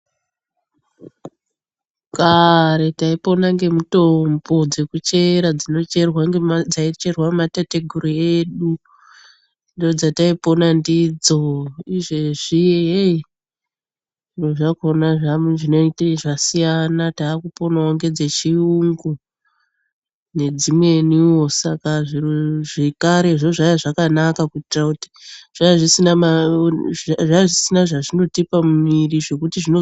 Kare taipona nemitombo dzekuchera dzaicherwa nematateguru edu ndodzataipona ndidzo. Izvezvi zviro zvakona zvinenge zvasiyana, takuponawo ngedzechuyungu ngedzimweniwo. Saka zviro zvekare zvakanga zvakanaka ngekuti zvanga zvisina zvazvinotipa mumwiri zvekuti zvino .